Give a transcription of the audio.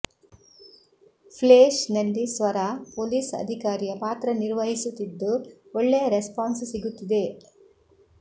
Flesh ನಲ್ಲಿ Swara police ಅಧಿಕಾರಿಯ ಪಾತ್ರ ನಿರ್ವಹಿಸುತ್ತಿದ್ದು ಒಳ್ಳೆಯ ರೆಸ್ಪಾನ್ಸ್ ಸಿಗುತ್ತಿದೆ